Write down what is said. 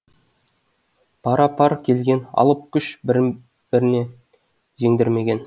пара пар келген алып күш бірін біріне жеңдірмеген